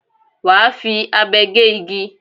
Wà á fi abe gé igi.